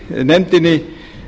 þykir nefndinni